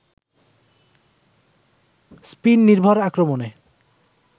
spin নির্ভর আক্রমণে